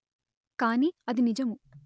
కాని అది నిజము